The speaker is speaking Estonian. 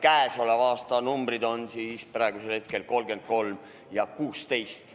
Käesoleva aasta numbrid on praegu 33 ja 16.